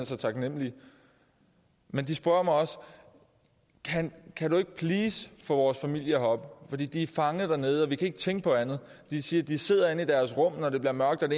så taknemlige men de spørger mig også kan kan du ikke please få vores familie herop fordi de er fanget dernede og vi kan ikke tænke på andet de siger at de sidder inde i deres rum når det bliver mørkt